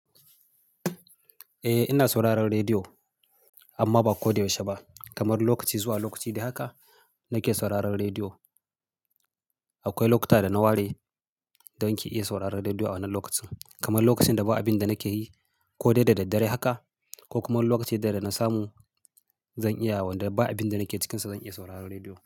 Eh ina sauraron rediyo amma ba ko da yaushe ba. Kamar lokaci zuwa lokaci dai haka nake sauraron rediyo. Akwai lokuta da na ware don ki iya sauraron rediyo a wannan lokacin, kamar lokacin da ba abin da nake yi ko dai da daddare haka ko kuma lokacin da idan na samu zan iya wanda ba abin da nake cikinsa zan iya sauraron rediyo.